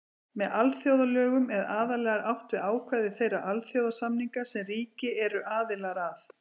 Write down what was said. Með alþjóðalögum er aðallega átt við ákvæði þeirra alþjóðasamninga sem ríki eru aðilar að.